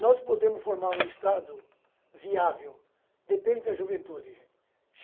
Nós podemos formar um Estado viável, depende da juventude, gente.